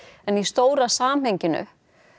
en í stóra samhenginu